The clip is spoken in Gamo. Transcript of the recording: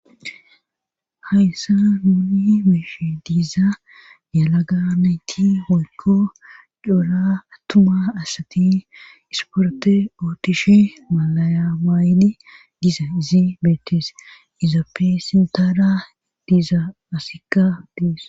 hayssa nuuni meeshe diiza yalaga nayti hoykko dora attuma asati isporte ootishe malayamaayni diza izi beetees izappe sintara diiza asikka deeso.